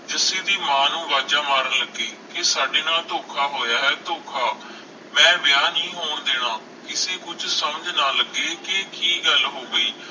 ਜੱਸੀ ਵੀ ਮਾਂ ਨੂੰ ਵਾਜਾਂ ਮਾਰਨ ਲਗੀ ਕਿ ਸਾਡੇ ਨਾਲ ਧੋਖਾ ਹੋਇਆ ਹੈ ਧੋਖਾ ਮੈ ਵਿਆਹ ਨਹੀਂ ਹੋਣ ਦੇਣਾ ਕਿਸੇ ਕੁਛ ਸਮਝ ਨਾ ਲਗੇ ਕੇ ਕਿ ਗੱਲ ਹੋ ਗਈ